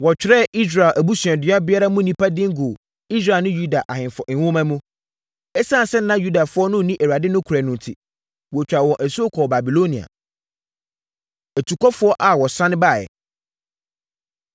Wɔtwerɛɛ Israel abusuadua biara mu nnipa din guu Israel ne Yuda Ahemfo nwoma mu. Esiane sɛ na Yudafoɔ no nni Awurade nokorɛ no enti, wɔtwaa wɔn asuo kɔɔ Babilonia. Atukɔfoɔ A Wɔsane Baeɛ